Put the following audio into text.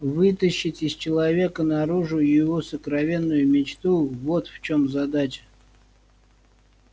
вытащить из человека наружу его сокровенную мечту вот в чем задача